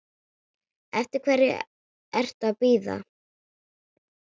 Eftir hverju ertu að bíða?